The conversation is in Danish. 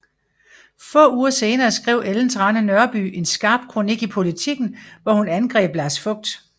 Få uger senere skrev Ellen Trane Nørby en skarp kronik i Politiken hvor hun angreb Lars Fogt